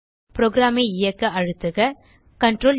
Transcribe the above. program ஐ இயக்க அழுத்துக Ctrl ப்11